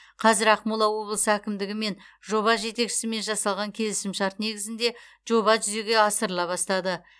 қазір ақмола облысы әкімдігі мен жоба жетекшісімен жасалған келісімшарт негізінде жоба жүзеге асырыла бастады